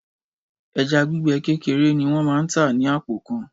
Ẹja gbígbẹ kékeré ni wọ́n máa tà ní àpò kan.